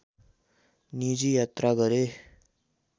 निजी यात्रा गरे